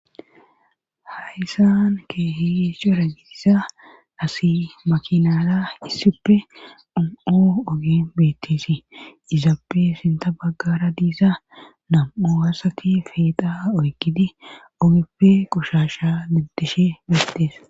Haysan kehiyeesho ragitisa asi makinaala issippe ono ogen bettesi izaappe sinta baggara diisa nam'o asati feeqa oygidi ogeppe qushasha libdishe beettees